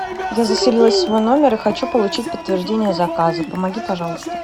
я заселилась в свой номер и хочу получить подтверждение заказа помоги пожалуйста